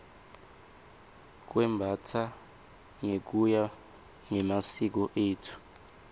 kwembastsa ngekuya ngemasiko etfu